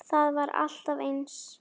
Það var alltaf eins.